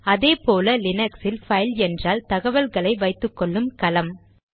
அதே போல லினக்ஸில் பைல் என்றால் தகவல்களை வைத்துக்கொள்ளும் கலம்